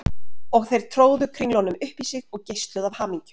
Og þeir tróðu kringlunum upp í sig og geisluðu af hamingju.